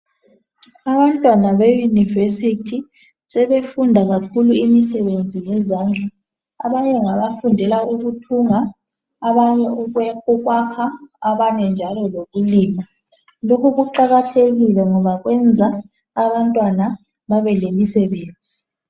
Abantwana beyunivesithi sebefunda kakhulu imisebenzi yezandla. Abanye ngabafundela ukuthunga, abanye ukwakha, abanye njalo lokulima. Lokhu kuqakathekile ngoba kwenza abantwana babelemisebenzi.